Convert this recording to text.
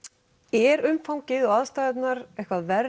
er umfangið og aðstæðurnar eitthvað verri